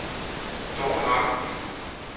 Dorthe Vang